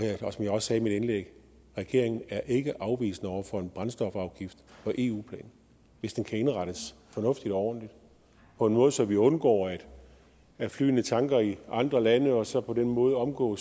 som jeg også sagde i mit indlæg regeringen er ikke afvisende over for en brændstofafgift på eu plan hvis den kan indrettes fornuftigt og ordentligt på en måde så vi undgår at flyene tanker i andre lande og så på den måde omgår